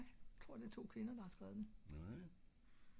nej jeg tror det er to kvinder der har skrevet den